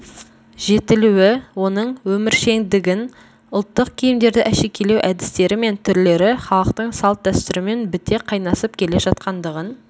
жетілуі оның өміршеңдігін ұлттық киімдерді әшекейлеу әдістері мен түрлері халықтың салт-дәстүрімен біте қайнасып келе жатқандығын